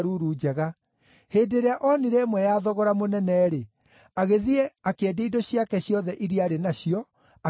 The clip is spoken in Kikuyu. Hĩndĩ ĩrĩa oonire ĩmwe ya thogora mũnene-rĩ, agĩthiĩ akĩendia indo ciake ciothe iria aarĩ nacio, akĩmĩgũra.